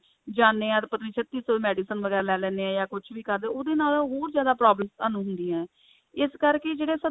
ਜਾਨੇ ਹਾਂ ਤੇ ਪਤਾ ਨੀ ਫੇਰ ਕੀ medicine ਵਗੈਰਾ ਲੈ ਲਿੰਦੇ ਹਾਂ ਜਾ ਕੁੱਝ ਵੀ ਕਰਦੇ ਹਾਂ ਉਹਦੇ ਨਾਲ ਹੋਰ ਜਿਆਦਾ problems ਤੁਹਾਨੂੰ ਹੁੰਦੀਆਂ ਨੇ ਇਸ ਕਰਕੇ ਜਿਹੜਾ